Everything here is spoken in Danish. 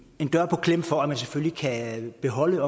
en dør på klem for at man selvfølgelig kan beholde